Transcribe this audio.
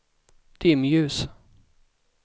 dimljus